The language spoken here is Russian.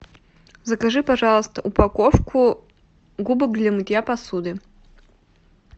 закажи пожалуйста упаковку губок для мытья посуды